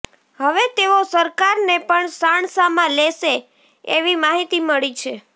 હવે તેઓ સરકારને પણ સાણસામાં લેશે એવી માહિતી મળી રહી છે